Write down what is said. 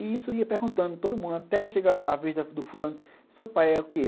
E isso ia perguntando, todo mundo, até chegar a vez do fulano, seu pai é o que?